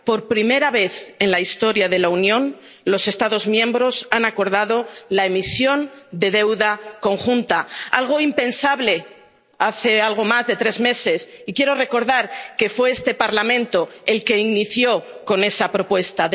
Por primera vez en la historia de la Unión, los Estados miembros han acordado la emisión de deuda conjunta, algo impensable hace algo más de tres meses, y quiero recordar que fue este Parlamento el primero que realizó esa propuesta.